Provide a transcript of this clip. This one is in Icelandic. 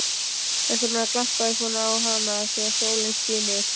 Þess vegna glampaði svona á hana þegar sólin skini.